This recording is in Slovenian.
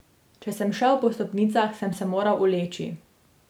Če sem šel po stopnicah, sem se moral uleči.